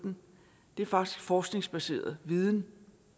det er faktisk forskningsbaseret viden